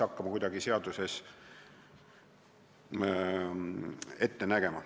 Helmut Hallemaa.